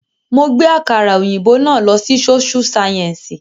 Mo gbé àkàrà òyìnbó náà lọ sí sóṣú sáyẹ́ǹsì